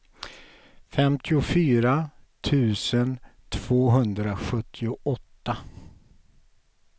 femtiofyra tusen tvåhundrasjuttioåtta